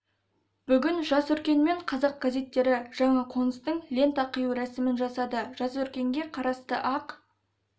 бүгін жас өркен мен қазақ газеттері жаңа қоныстың лента қию рәсімін жасады жас өркенге қарасты ақ